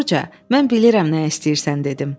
Yumruca, mən bilirəm nə istəyirsən dedim.